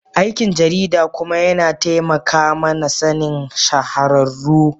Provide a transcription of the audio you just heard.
Aikin jarida kuma yana taimaka mana Sanin shahararru.